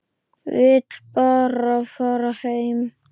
Vill bara fara heim.